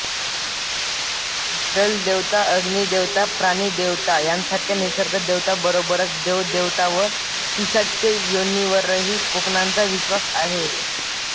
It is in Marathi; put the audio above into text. जलदेवता अग्निदेवता प्राणिदेवता यांसारख्या निसर्गदेवता बरोबरच देवदेवता व पिशाच्च योनीवरही कोकणांचा विश्वास आहे